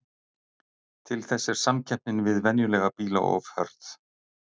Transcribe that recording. Til þess er samkeppnin við venjulega bíla of hörð.